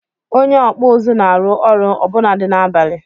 Onye okpu uzu na-arụ ọrụ ọbụnadi n'abalị.